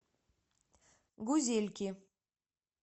гузельки